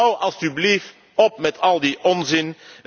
Houd alstublieft op met al die onzin.